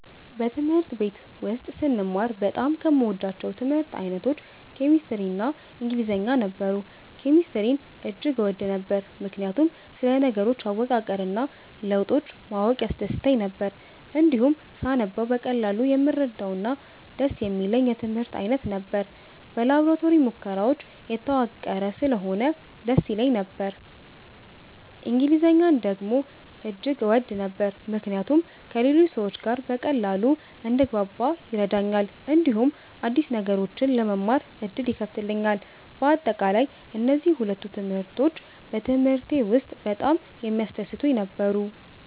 በትምህርት ቤት ውስጥ ስማር በጣም ከምወዳቸው የትምህርት አይነቶች ኬሚስትሪ እና ኢንግሊዝኛ ነበሩ። ኬሚስትሪን እጅግ እወድ ነበር፣ ምክንያቱም ስለ ነገሮች አወቃቀር እና ለውጦች ማወቅ ያስደስተኝ ነበር። እንዲሁም ሳነበው በቀላሉ የምረዳውና ደስ የሚለኝ የትምህርት አይነት ነበር። በላቦራቶሪ ሙከራዎች የተዋቀረ ስለሆነ ደስ ይለኝ ነበር። እንግሊዝኛን ደግሞ እጅግ እወድ ነበር፣ ምክንያቱም ከሌሎች ሰዎች ጋር በቀላሉ እንድግባባ ይረዳኛል፣ እንዲሁም አዲስ ነገሮችን ለመማር ዕድል ይከፍትልኛል። በአጠቃላይ፣ እነዚህ ሁለቱ ትምህርቶች በትምህርቴ ውስጥ በጣም የሚያስደስቱኝ ነበሩ።